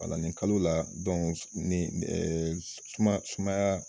wala nin Kalo la dɔnku ni ɛɛ suma sumaya